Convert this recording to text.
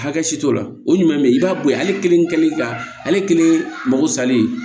Hakɛ si t'o la o ɲuman bɛ ye i b'a bɔ yen ale kelen ka ale kelen mago salen